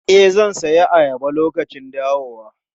E, zan sayi ayaba lokacin dawowa.